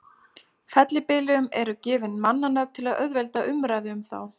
Fellibyljum eru gefin mannanöfn til að auðvelda umræðu um þá.